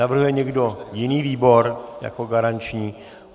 Navrhuje někdo jiný výbor jako garanční?